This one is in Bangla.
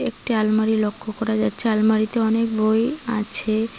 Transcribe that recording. একটি আলমারি লক্ষ করা যাচ্ছে আলমারিতে অনেক বই আছে।